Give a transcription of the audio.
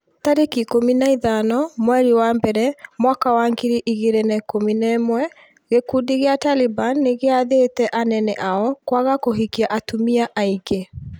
tarĩki ikũmi na ithano mweri wa mbere mwaka wa ngiri igĩrĩ na ikũmi na ĩmwe gĩkundi gĩa Taliban nĩgĩathĩte anene ao kwaga kũhikia atumia aingĩ.